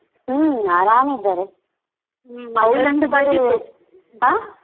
ಹುಮ್ಮ್ ಆರಾಮಿದ್ದಾರೆ ಆ.